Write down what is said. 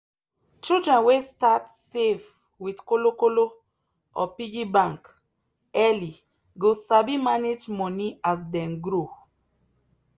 children wey start save with kolo kolo or piggy bank early go sabi manage money as dem grow.